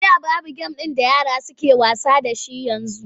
A da babu gem da yara suke wasa da shi yanzu.